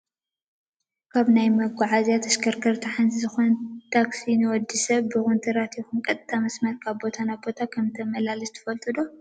ካብ ናይ መጓዓዝያ ተሽከርከርቲ ሓንቲ ዝኮነት ታክሲ ንወዲ ሰብ ብኩንትራት ይኩን ቀጥታ መስመር ካብ ቦታ ናብ ቦታ ከምተመላልስ ትፈልጡ ዶ?